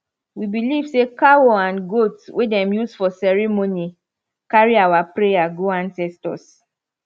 we believe say cow and goat wey dem use for ceremony carry our prayer go ancestors